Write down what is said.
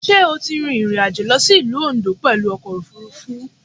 Sé o ti rin ìrìnàjò lọ sí Ìlú Oǹdó pẹ̀lú ọkò òfurufú?